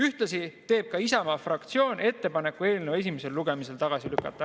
Ühtlasi teeb ka Isamaa fraktsioon ettepaneku eelnõu esimesel lugemisel tagasi lükata.